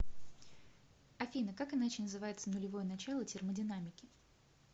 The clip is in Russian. афина как иначе называется нулевое начало термодинамики